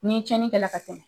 Ni cɛnni kɛla ka tɛmɛ